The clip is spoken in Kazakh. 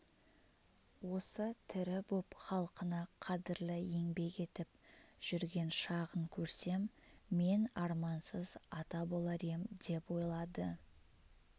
осы тірі боп халқына қадірлі еңбек етіп жүрген шағын көрсем мен армансыз ата болар ем деп ойлады